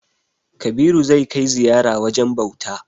Kabiru zai kai ziyara wajen bauta.